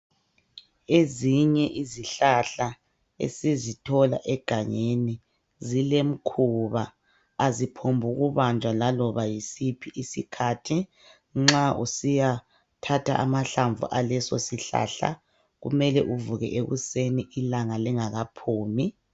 Ezinye izihlahla esizithola egangeni zilemkhuba aziphombuku banjwa laloba yisiphi isikhathi nxa usiya thatha amahlamvu alesisihlahla kumele uvuke ekuseni ilanga lingakaphumi.